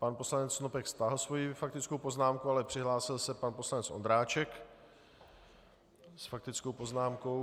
Pan poslanec Snopek stáhl svoji faktickou poznámku, ale přihlásil se pan poslanec Ondráček s faktickou poznámkou.